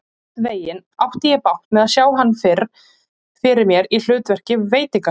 Einhvernveginn átti ég bágt með að sjá hann fyrir mér í hlutverki veitingasala.